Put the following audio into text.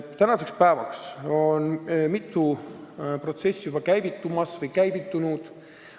Tänaseks päevaks on mitu protsessi juba käivitumas või käivitunud.